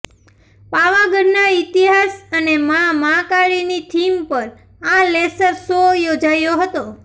પાવાગઢના ઇતિહાસ અને માં મહાકાળીની થીમ પર આ લેસર શો યોજાયો હતો